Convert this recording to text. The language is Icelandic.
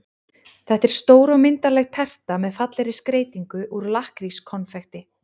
Þetta er stór og myndarleg terta með fallegri skreytingu úr lakkrískonfekti.